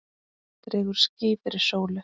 Dregur ský fyrir sólu!